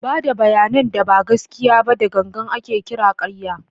Ba da bayanan da ba gaskiya ba da gangan ake kira ƙarya.